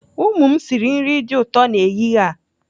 Ụmụ m sịrị nri dị ụtọ n'ehihie a.